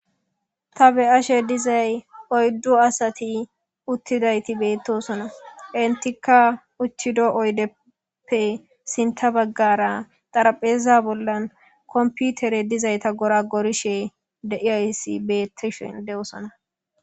Ta be ashe dizay oyddu asati uttidayti beettosona entikka uchido oydeppe sinta baggara xarapheza bollan komputere dizayta gora gorishe deiyayssi beettishen de7osona.